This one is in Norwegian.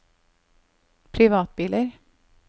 privatbiler